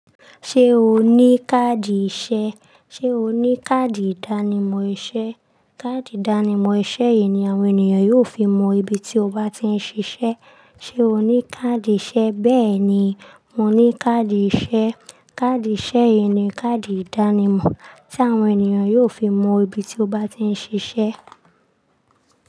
Ṣé o ní káàdì iṣẹ́? Ṣé o ní káàdì ìdánimọ̀ iṣẹ́? Káàdì ìdánimọ̀ iṣẹ́ yìí ni àwọn ènìyàn yóò fi mọ ibi tí o bá ti ń ṣiṣẹ́. Ṣé o ní káàdì iṣẹ́? Bẹ́ẹ̀ni, mo ní káàdì iṣẹ́. Káàdì iṣẹ́ yìí ni káàdì ìdánimọ̀ tí àwọn ènìyàn yóò fi mọ ibi tí o bá ti ń ṣiṣẹ́.